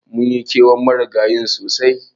Munyi kewan Marigayin sosai.